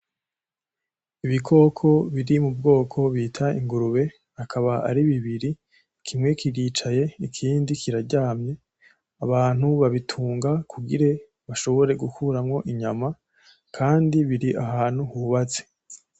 Ibikoko biri mu bwoko bita ingurube, akaba ari bibiri, kimwe kiricaye ikindi kiraryamye. Abantu babitunga kugire bashobore gukuramwo inyama, kandi biri ahantu hubatse.